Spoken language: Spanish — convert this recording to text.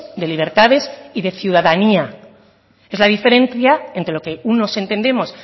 de libertades y de ciudadanía es la diferencia entre lo que unos entendemos